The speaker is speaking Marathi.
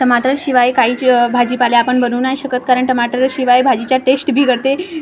टमाटर शिवाय काहीच अ भाजीपाला आपण बनवू नाही शकत कारण टमाटरशिवाय भाजीचा टेस्ट बिघडते.